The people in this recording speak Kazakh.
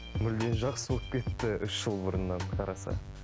мүлдем жақсы болып кетті үш жыл бұрыннан қараса